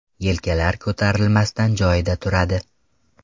Yelkalar ko‘tarilmasdan joyida turadi.